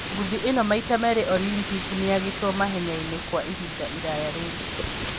Ngũthi ĩno maita meerĩ Olympic nĩagĩtwo mahenya inĩ kwa ihinda iraya rĩu